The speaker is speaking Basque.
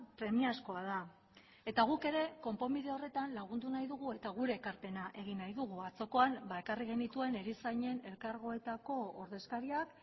premiazkoa da eta guk ere konponbide horretan lagundu nahi dugu eta gure ekarpena egin nahi dugu atzokoan ba ekarri genituen erizainen elkargoetako ordezkariak